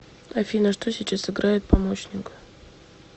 афина что сейчас играет помощник